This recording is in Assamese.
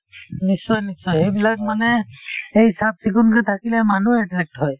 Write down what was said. নিশ্চয় নিশ্চয় সেইবিলাক মানে সেই চাফ চিকুনকে থাকিলে মানে মানুহ attract হয়